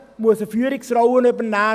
Er muss eine Führungsrolle übernehmen.